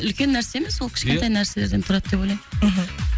үлкен нәрсе емес ол кішкентай нәрселерден тұрады деп ойлаймын мхм